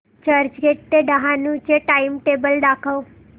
चर्चगेट ते डहाणू चे टाइमटेबल दाखव